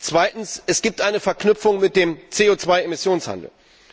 Zweitens Es gibt eine Verknüpfung mit dem CO 2 Emissionshandel.